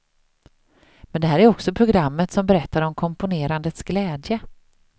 Men det här är också programmet som berättar om komponerandets glädje.